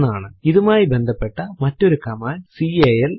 ഇതുമായി ബന്ധപ്പെട്ട മറ്റൊരു കമാൻഡ് കാൽ ആണ്